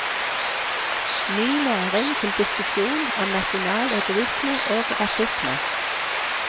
Ny næring til diskusjon om nasjonal egoisme og rasisme.